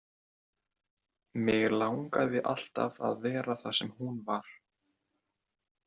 Mig langaði alltaf að vera þar sem hún var.